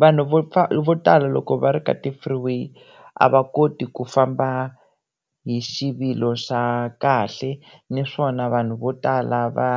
vanhu vo vo tala loko va ri ka ti-freeway a va koti ku famba hi xivilo xa kahle naswona vanhu vo tala va